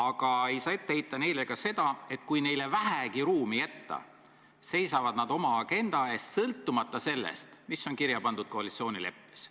Ka ei saa neile ette heita seda, et kui neile vähegi ruumi jätta, siis seisavad nad oma agenda eest, sõltumata sellest, mis on kirja pandud koalitsioonileppes.